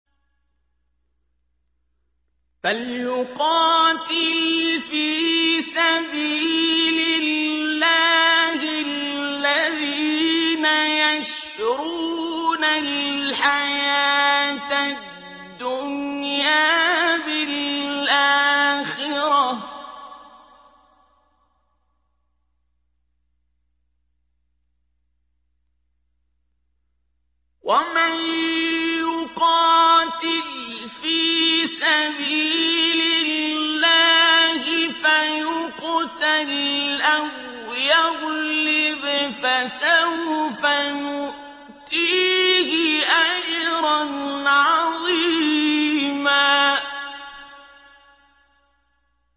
۞ فَلْيُقَاتِلْ فِي سَبِيلِ اللَّهِ الَّذِينَ يَشْرُونَ الْحَيَاةَ الدُّنْيَا بِالْآخِرَةِ ۚ وَمَن يُقَاتِلْ فِي سَبِيلِ اللَّهِ فَيُقْتَلْ أَوْ يَغْلِبْ فَسَوْفَ نُؤْتِيهِ أَجْرًا عَظِيمًا